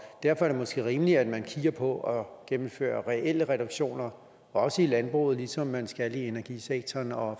derfor er det måske rimeligt at man kigger på at gennemføre reelle reduktioner også i landbruget ligesom man skal det i energisektoren og